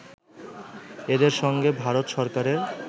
এদের সঙ্গে ভারত সরকারের